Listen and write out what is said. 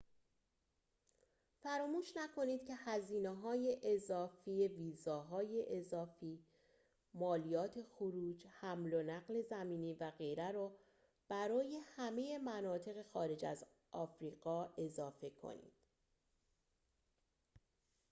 فراموش نکنید که هزینه‌های اضافی ویزاهای اضافی مالیات خروج حمل و نقل زمینی و غیره را برای همه مناطق خارج از آفریقا اضافه کنید